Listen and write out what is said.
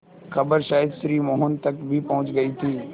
खबर शायद श्री मोहन तक भी पहुँच गई थी